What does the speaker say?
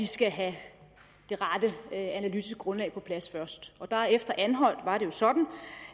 skal have det rette analytiske grundlag på plads først efter anholt var det jo sådan